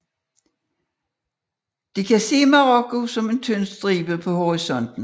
De kan se Marokko som en tynd stribe på horisonten